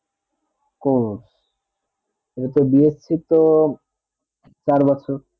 course এইতো bse তো চার বছর